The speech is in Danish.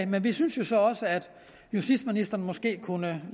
men vi synes jo så også at justitsministeren måske kunne